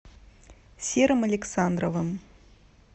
серым александровым